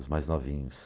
Os mais novinhos.